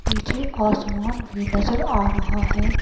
पीछे आसमान भी नजर आ रहा है।